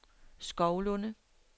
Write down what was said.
Skovlunde